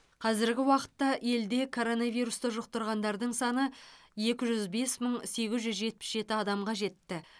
қазіргі уақытта елде коронавирусты жұқтырғандардың саны екі жүз бес мың сегіз жүз жетпіс жеті адамға жетті